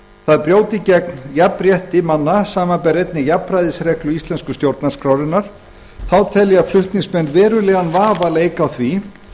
það brjóti gegn jafnrétti manna samanber einnig jafnræðisreglu íslensku stjórnarskrárinnar þá telja flutningsmenn verulegan vafa leika á því